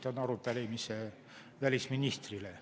Esitan arupärimise välisministrile.